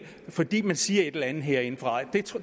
fordi man siger et eller andet herindefra